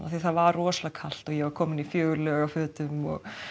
það var rosalega kalt ég var komin í fjögur lög af fötum